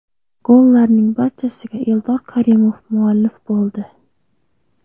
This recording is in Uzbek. Gollarning barchasiga Eldor Karimov muallif bo‘ldi.